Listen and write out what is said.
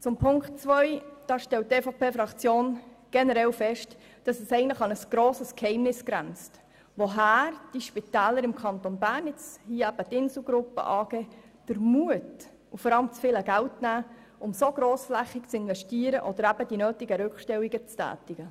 Zu Ziffer 2 stellt die EVP-Fraktion generell fest, dass es eigentlich an ein grosses Geheimnis grenzt, woher die Spitäler im Kanton Bern – hier die Insel Gruppe AG – den Mut und vor allem das viele Geld nehmen, um so grossflächig zu investieren oder die nötigen Rückstellungen zu tätigen.